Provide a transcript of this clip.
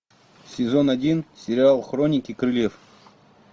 сезон один сериал хроники крыльев